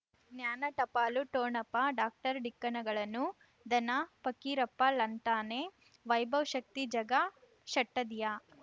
ಜ್ಞಾನ ಟಪಾಲು ಠೊಣಪ ಡಾಕ್ಟರ್ ಢಿಕ್ಕ ಣಗಳನು ಧನ ಫಕೀರಪ್ಪ ಳಂತಾನೆ ವೈಭವ್ ಶಕ್ತಿ ಝಗಾ ಷಟ್ಟದಿಯ